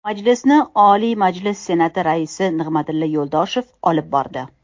Majlisni Oliy Majlis Senati Raisi Nig‘matilla Yo‘ldoshev olib bordi.